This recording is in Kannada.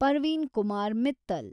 ಪರ್ವೀನ್ ಕುಮಾರ್ ಮಿತ್ತಲ್